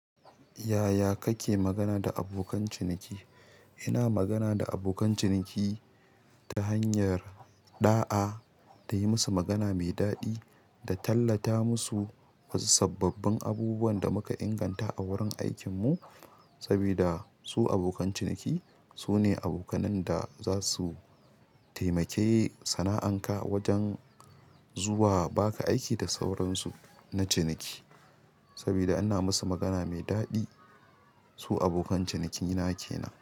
Yaya kake magana da abokan ciniki? Ina magana da abokan ciniki ta hanyar ɗa'a, da yi musu magana mai daɗi, da tallata musu wasu sababbin abubuwan da muka inganta a wurin aikinmu, sabida su abokan ciniki sune abokan da za su taimake sana'anka wajen zuwa ba ka aiki da sauransu na ciniki. Sabida ina musu magana mai daɗi, su abokan cinikin na ke nan.